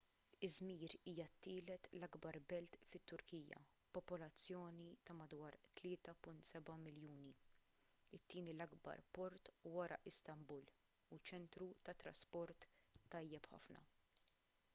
izmir hija t-tielet l-akbar belt fit-turkija b'popolazzjoni ta' madwar 3.7 miljuni it-tieni l-akbar port wara istanbul u ċentru tat-trasport tajjeb ħafna